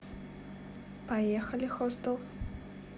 поехали хостел